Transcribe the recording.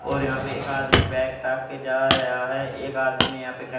और यहां पे एक आदमी बैग टांग के जा रहा है एक आदमी ने यहां पे घ --